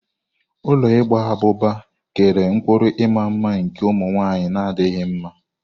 Ụlọ igba abụba kere ụkpụrụ ịma mma nke ụmụ nwaanyị na adịghị mma.